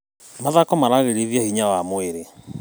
Mathako magĩrithagia hinya wa mwĩrĩ.